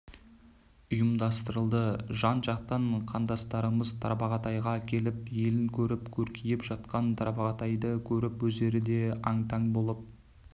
ұйымдастырылды жан-жақтан қандастарымыз тарбағатайға келіп елін көріп көркейіп жатқан тарбағатайды көріп өздері де аң-таң болып